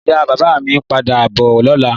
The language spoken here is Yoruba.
Ìyá bàbá mi ń padà bọ̀ lọ́la.